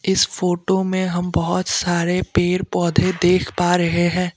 इस फोटो में हम बहोत सारे पेड़ पौधे देख पा रहे हैं।